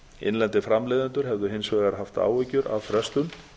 innlendir framleiðendur hefðu hins vegar haft áhyggjur af frestun